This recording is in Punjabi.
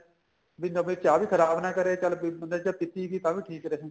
ਬੀ ਸਾਡੀ ਚਾਹ ਵੀ ਖਰਾਬ ਨਾ ਕਰੇ ਚੱਲ ਬੰਦੇ ਜੇ ਪੀਤੀ ਗਈ ਤਾਂ ਵੀ ਠੀਕ ਰਹੀ